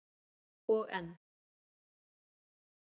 Og enn